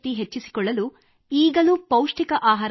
ಹಾಂ